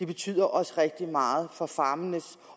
betyder også rigtig meget for farmenes